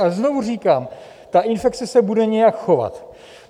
Ale znovu říkám, ta infekce se bude nějak chovat.